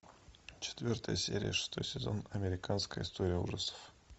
четвертая серия шестой сезон американская история ужасов